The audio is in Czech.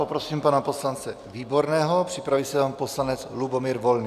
Poprosím pana poslance Výborného, připraví se pan poslanec Lubomír Volný.